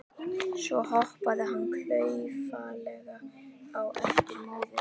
Svo hoppaði hann klaufalega á eftir móður sinni.